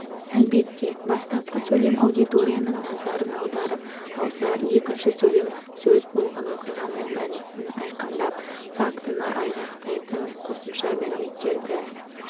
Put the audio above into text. әлбетте бастапқы сөйлем аудиторияның назарын аударып алса екінші сөйлем сөз болған оқиғаның мәнісін айқындап фактіні айғақтайтын қосымша мәліметтерді